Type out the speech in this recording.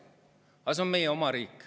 Aga see on meie oma riik.